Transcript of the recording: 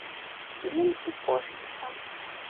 филин и кошечка